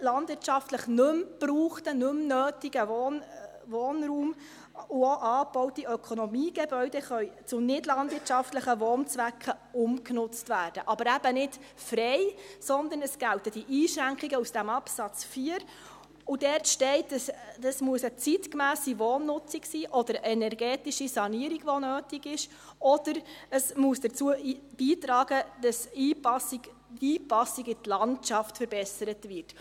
Landwirtschaftlich nicht mehr gebrauchter, nicht mehr benötigter Wohnraum und auch angebaute Ökonomiegebäude können für nichtlandwirtschaftliche Wohnzwecke umgenutzt werden – aber eben nicht frei, sondern es gelten die Einschränkungen aus dem Absatz 4. Dort steht, dass es eine zeitgemässe Wohnnutzung sein muss, oder eine energetische Sanierung, die nötig ist, oder es muss dazu beitragen, dass die Einpassung in die Landschaft verbessert wird.